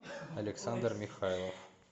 александр михайлов